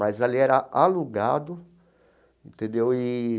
Mas ali era alugado, entendeu eee.